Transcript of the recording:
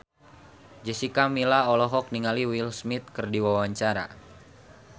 Jessica Milla olohok ningali Will Smith keur diwawancara